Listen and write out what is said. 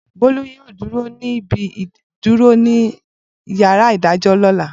Bolu yoo duro ni ibi iduro ni yara idajọ ni ọla.